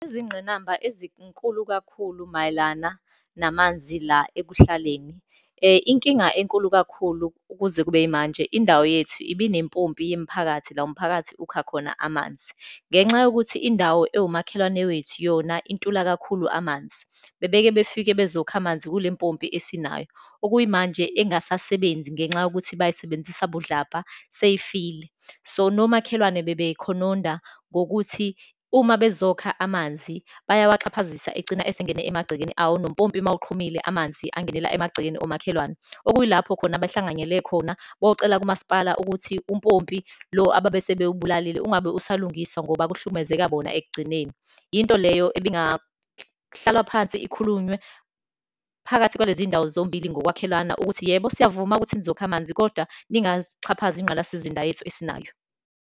Izingqinamba ezinkulu kakhulu mayelana namanzi la ekuhlaleni. Inkinga enkulu kakhulu ukuze kube yimanje, indawo yethu ibe nempompi yemiphakathi, la umphakathi ukha khona amanzi. Ngenxa yokuthi indawo ewumakhelwane wethu yona intula kakhulu amanzi, bebekebefike bezokha amanzi kule mpompi esinayo. Okuyimanje engasasebenzi ngenxa yokuthi bayisebenzisa budlabha, seyifile. So, nomakhelwane bebekhononda ngokuthi uma bezokha amanzi, bayawaxhaphazisa, egcina esengena emagcekeni awo, nompopi uma uqhumile, amanzi angenela emagcekeni omakhelwane. Okuyilapho khona behlanganyele khona beyocela kumasipala ukuthi umpopi lo ababesebewubulalile ungabe usalungiswa ngoba kuhlukumezeka bona ekugcineni. Yinto leyo ebingahlalwa phansi, ikhulunywe phakathi kwaleziy'ndawo zombili ngokwakhelana, ukuthi yebo, siyavuma ukuthi nizokha amanzi kodwa ningaxhaphazi ingqalasizinda yethu esinayo.